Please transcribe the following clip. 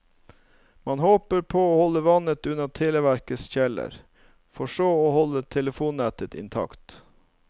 Man håper på å holde vannet unna televerkets kjeller, for så å holde telefonnettet intakt.